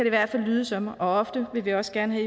i hvert fald lyde som og ofte vil vi også gerne